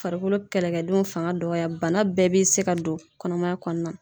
Farikolo kɛlɛkɛdenw fanga dɔgɔya bana bɛɛ bɛ se ka don kɔnɔmaya kɔnɔna na.